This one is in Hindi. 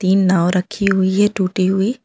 तीन नाव रखी हुई है टूटी हुई।